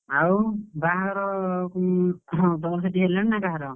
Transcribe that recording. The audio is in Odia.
ଆଉ ବାହାଘର ହଁ ତମର ସେଠି ହେଲାଣି ନା କାହାର?